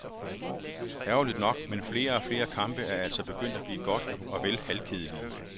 Ærgerligt nok, men flere og flere kampe er altså begyndt at blive godt og vel halvkedelige.